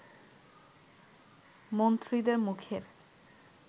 মন্ত্রীদের মুখের